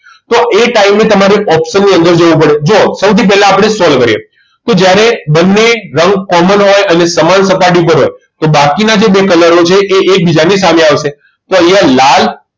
તો એ time તમારે option ની અંદર જોવું પડે જુઓ સૌથી પહેલા આપણે solve કરીએ જ્યારે બંને રંગ common હોય અને સમાન સપાટી પર હોય તો બાકીના બે colour છે એ એકબીજાની સામે આવશે તો અહીંયા લાલ